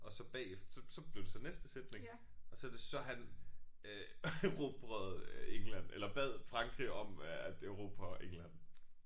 Og så bagefter så så blev det så næste sætning og så det så han øh erobrede England eller bad Frankrig om at erobre England